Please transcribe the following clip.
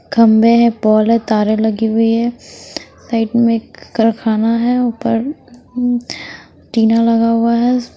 खंभे है पॉल है तारे लगी हुई है साइड में करखाना है ऊपर टीना लगा हुआ है।